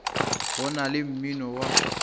go na le mmino wa